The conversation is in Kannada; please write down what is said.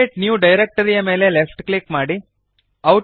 ಕ್ರಿಯೇಟ್ ನ್ಯೂ ಡೈರೆಕ್ಟರಿ ಯ ಮೇಲೆ ಲೆಫ್ಟ್ ಕ್ಲಿಕ್ ಮಾಡಿರಿ